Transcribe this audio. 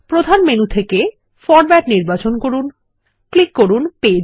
প্রধান মেনু থেকে ফরমেট নির্বাচন করুন এবং ক্লিক করুন পেজ